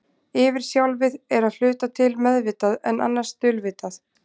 Yfirsjálfið er að hluta til meðvitað, en annars dulvitað.